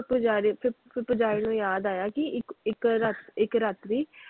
ਪੁਜਾਰੀ ਫਿਰ ਪੁਜਾਰੀ ਨੂੰ ਯਾਦ ਆਇਆ ਕਿ ਇਕ ਰਾਤ੍ਰਿ,